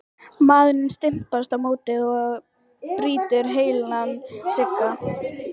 Maðurinn stimpast á móti og brýtur heilan stiga!